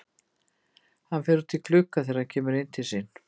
Hann fer út í glugga þegar hann kemur inn til sín.